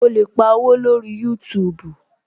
O lè pa owó lórí youtube